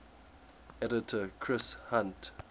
editor chris hunt